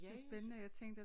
Ja jeg